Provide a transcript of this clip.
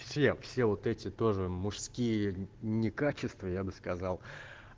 все все вот эти тоже мужские не качество я бы сказал